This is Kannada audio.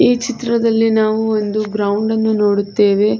ಈ ಚಿತ್ರದಲ್ಲಿ ನಾವು ಒಂದು ಗ್ರೌಂಡ್ ನ್ನು ನೋಡುತ್ತೇವೆ.